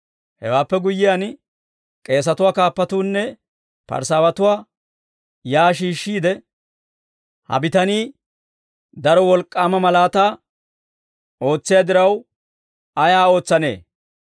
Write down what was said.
Hewaappe guyyiyaan, k'eesatuwaa kaappatuunne Parisaawatuu shiik'uwaa shiishshiide, «Ha bitanii daro wolk'k'aama malaataa ootsiyaa diraw, ayaa ootsanee?